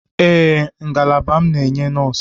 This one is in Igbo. Ee, ngalaba m na-enye nọọsụ.